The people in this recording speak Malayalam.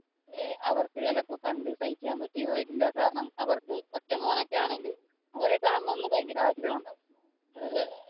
അവർക്ക് ചിലപ്പോൾ കണ്ടു സഹിക്കാൻ പറ്റി എന്ന് വരില്ല കാരണം അവർക്ക് ഒറ്റ മോൻ ഒക്കെ ആണെങ്കിൽ അവരെ കാണണമെന്ന് ഭയങ്കര ആഗ്രഹമുണ്ടാകും.